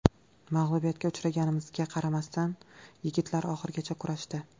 Mag‘lubiyatga uchraganimizga qaramasdan yigitlar oxirigacha kurashdi.